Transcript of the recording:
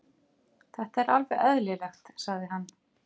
Þetta er alveg eðlilegt, sagði hann.